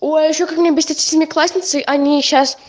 ой а ещё как меня бесят эти семиклассницы они сейчас